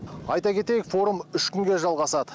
айта кетейік форум үш күнге жалғасады